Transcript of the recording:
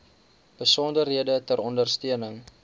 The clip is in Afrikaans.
besonderhede ter ondersteuning